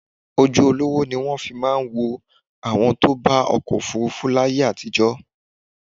Ojú olówó ní wọ́n fi máa ń wo àwọn tó bá ọkọ̀ òfuurufú láyé àtijọ́